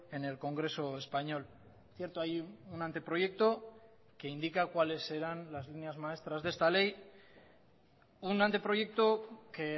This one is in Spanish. en el congreso español cierto hay un anteproyecto que indica cuáles serán las líneas maestras de esta ley un anteproyecto que